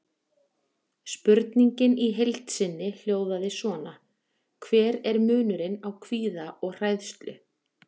Spurningin í heild sinni hljóðaði svona: Hver er munurinn á kvíða og hræðslu?